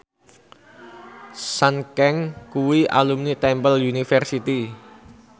Sun Kang kuwi alumni Temple University